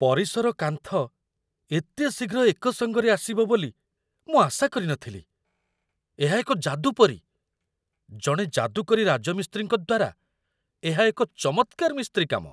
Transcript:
ପରିସର କାନ୍ଥ ଏତେ ଶୀଘ୍ର ଏକ ସଙ୍ଗରେ ଆସିବ ବୋଲି ମୁଁ ଆଶା କରି ନ ଥିଲି ଏହା ଏକ ଯାଦୁ ପରି! ଜଣେ ଯାଦୁକରୀ ରାଜମିସ୍ତ୍ରୀଙ୍କ ଦ୍ୱାରା ଏହା ଏକ ଚମତ୍କାର ମିସ୍ତ୍ରୀକାମ